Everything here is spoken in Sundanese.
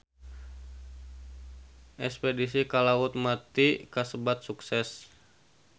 Espedisi ka Laut Mati kasebat sukses